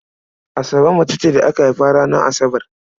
Asabe mace ce da aka haifa ranar Asabar.